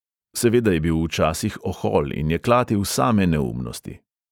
Seveda je bil včasih ohol in je klatil same neumnosti.